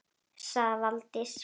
sagði Valdís